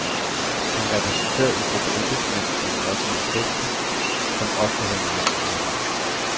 Han repræsenterer en gruppe embedsmænd i den offentlige sektor, som ofte har meget overarbejde.